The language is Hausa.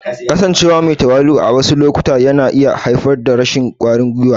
Kasancewa me tawali'u a wasu lokutan yana iya haifar da rashin ƙwarin gwiwa.